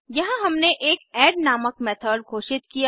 यहाँ हमने एक ऐड नामक मेथड घोषित किया